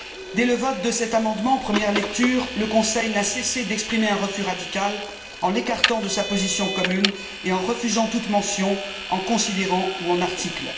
Dès le vote de cet amendement en première lecture, le Conseil n'a cessé d'exprimer un refus radical, en l'écartant de sa position commune et en refusant de le mentionner dans les considérants ou les articles.